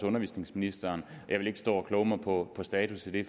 undervisningsministeren og jeg vil ikke stå og kloge mig på status i det